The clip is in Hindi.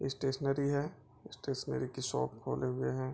स्टेशनरी है स्टेशनरी की शॉप खोले हुए हैं।